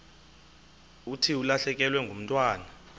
thi ulahlekelwe ngumntwana